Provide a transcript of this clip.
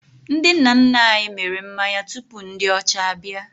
Ndị nna nna anyị mịrị mmanya tupu ndị ọcha abịa